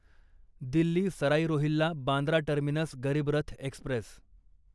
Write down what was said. Delhi Sarai Rohilla Bandra terminus Garib Rath Express